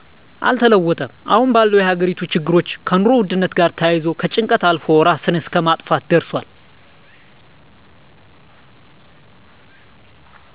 አልተለወጠም አሁን ባለዉ የሀገሪቱ ችግሮች ከኑሮ ዉድነት ጋር ተያይዞ ከጭንቀት አልፎ እራስን እስከ ማጥፋት ደርሷል